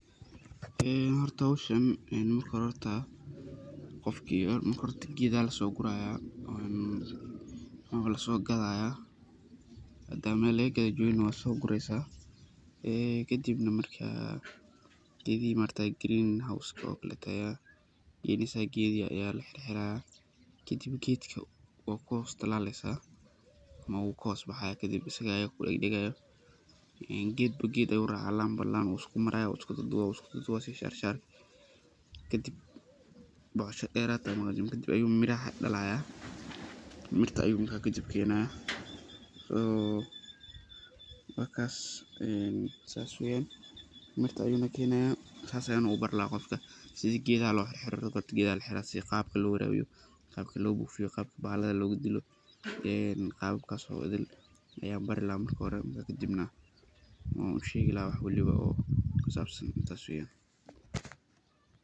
Horta howshan marka hore gedo aya lasoguraya hada meel lagagado jogi mwad sogadi kadib green house aya ladisaya oo ged kutalaleysa kadib gedka wubaxaya oo gedba geed ayu racaya laanba laan ayey iskudubi sida shasharka kadib ayu miraha dalaya marka wakas saas weyan mirtan ayu kenaya sidas ayan ubari sida lo bufiyo sida loabiro waxa daan ayan ushegi laha.